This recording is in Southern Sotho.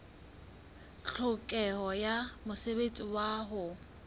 tlhokeho ya mosebetsi wa ho